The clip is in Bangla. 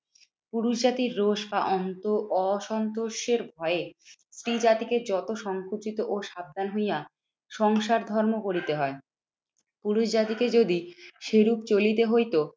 পুরুষ জাতির রোষ বা অন্ত অসন্তোষের ভয়ে স্ত্রী জাতিকে যত সংকুচিত ও সাবধান হইয়া সংসার ধর্ম করিতে হয়। পুরুষ জাতিকে যদি সেরূপ চলিতে হইতো